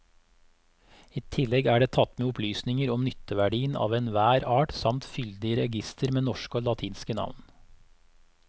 I tillegg er det tatt med opplysninger om nytteverdien av enhver art samt fyldig reigister med norske og latinske navn.